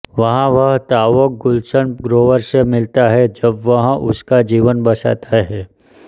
वहां वह ताओक गुलशन ग्रोवर से मिलता है जब वह उसका जीवन बचाता है